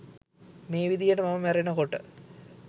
මේ විදිහට මම මැරෙනකොට